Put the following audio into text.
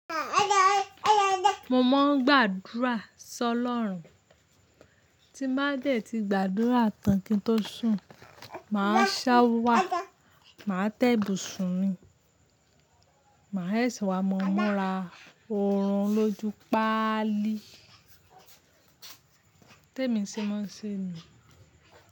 Mo máa ń gbàdúrà sọ lọ́run. Tí má jẹ́ tí gbàdúrà tán kí n tó sùn, màá ṣá wà, màá tẹ ibusùn mi, màá e se wa mo múra oorun lójú pálí. Tẹ́mi ṣe máa ń ṣe ni.